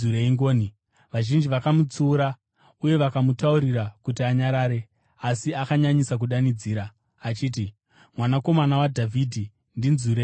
Vazhinji vakamutsiura uye vakamutaurira kuti anyarare, asi akanyanyisa kudanidzira achiti, “Mwanakomana waDhavhidhi, ndinzwirei ngoni!”